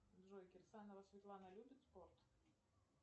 джой кирсанова светлана любит спорт